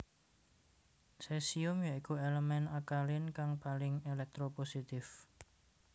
Sesium ya iku elemen akalin kang paling elektropositif